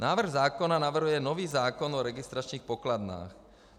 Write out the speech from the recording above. "Návrh zákona navrhuje nový zákon o registračních pokladnách.